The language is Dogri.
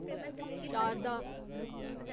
शारदा